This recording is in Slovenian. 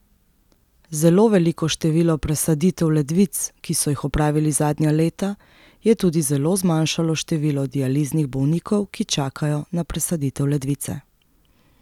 Zelo veliko število presaditev ledvic, ki so jih opravili zadnja leta, je tudi zelo zmanjšalo število dializnih bolnikov, ki čakajo na presaditev ledvice.